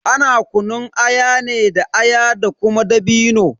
Ana kunun aya ne da aya da kuma dabino.